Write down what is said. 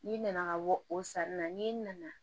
N'i nana ka bɔ o sanni na n'i nana